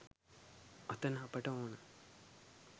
අතන අපට ඕන